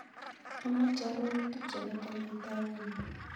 Amoche arorutik chepo kenyatta avenue